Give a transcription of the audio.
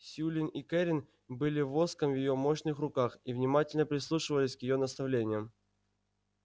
сьюлин и кэррин были воском в её мощных руках и внимательно прислушивались к её наставлениям